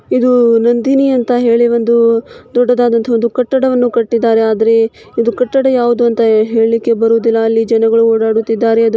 ಇದು ನಂದಿನಿ ಅಂತ ಹೇಳಿ ಒಂದು ಹು ದೊಡ್ಡದಾದಂತ ಒಂದು ಕಟ್ಟಡವನ್ನು ಕಟ್ಟಿದ್ದಾರೆ ಆದ್ರೆ ಇದು ಕಟ್ಟಡ ಯಾವುದು ಅಂತ ಹೇಳ್ಲಿಕೆ ಬರೋದಿಲ್ಲ. ಅಲ್ಲಿ ಜನಗಳು ಓಡಾಡುತ್ತಿದ್ದಾರೆ. ಅದು